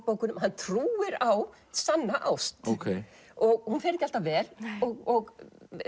bókunum að hann trúir á sanna ást hún fer ekki alltaf vel og